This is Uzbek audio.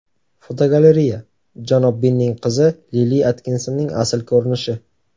Fotogalereya: Janob Binning qizi Lili Atkinsonning asl ko‘rinishi.